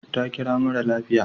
Ta kira mara lafiya.